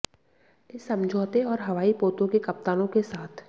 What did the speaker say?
इस समझौते और हवाई पोतों के कप्तानों के साथ